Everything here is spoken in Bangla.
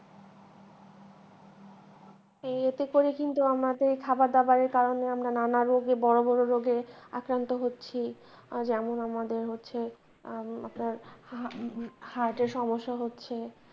এই ইয়েতে করে কিন্তু আমাদের খাওয়ার দাওয়ারের কারনে আমরা নানা রোগে বড় বড় রোগে আক্রান্ত হচ্ছি আজ এমন আমাদের হচ্ছে উম আপনার heart এর সমস্যা হচ্ছে।